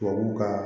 Tubabu ka